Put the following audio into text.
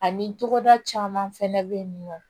Ani togoda caman fɛnɛ be yen nɔ